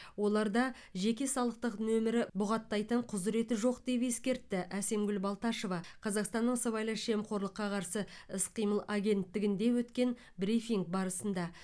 оларда жеке салықтық нөмірі бұғаттайтын құзыреті жоқ деп ескертті әсемгүл балташева қазақстанның сыбайлас жемқорлыққа қарсы іс қимыл агенттігінде өткен брифинг барысында